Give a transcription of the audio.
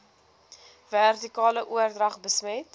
vertikale oordrag besmet